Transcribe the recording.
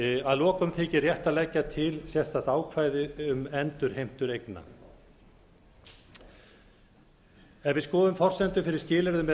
að lokum þykir rétt að leggja til sérstakt ákvæði um endurheimtur eigna ef við skoðum forsendur fyrir skilyrðum eða